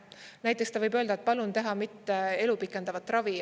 Näiteks ta võib öelda, et palun teha mitte elu pikendava ravi.